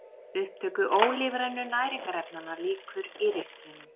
Upptöku ólífrænu næringarefnanna lýkur í ristlinum.